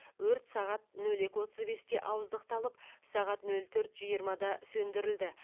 өрт сағат нөл екі отыз бесте ауыздықталып сағат нөл төрт жиырмада сөндірілді